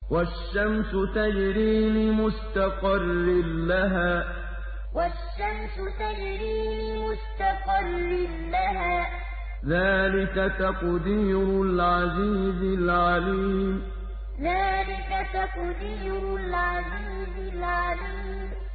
وَالشَّمْسُ تَجْرِي لِمُسْتَقَرٍّ لَّهَا ۚ ذَٰلِكَ تَقْدِيرُ الْعَزِيزِ الْعَلِيمِ وَالشَّمْسُ تَجْرِي لِمُسْتَقَرٍّ لَّهَا ۚ ذَٰلِكَ تَقْدِيرُ الْعَزِيزِ الْعَلِيمِ